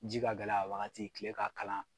Ji ka gɛlɛ a wagati, tila ka kalan!